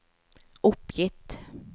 oppgitt